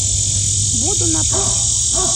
буду на пару